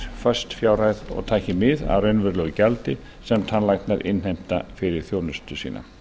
föst fjárhæð og taki mið af raunverulegu gjaldi sem tannlæknar innheimta fyrir þjónustu sína